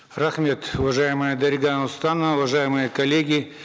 рахмет уважаемая дарига нурсултановна уважаемые коллеги